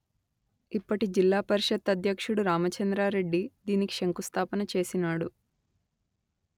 ఇప్పటి జిల్లా పరిషత్ అధ్యక్షుడు రామచంద్రా రెడ్డి దీనికి శంఖుస్థాపన చేసినాడు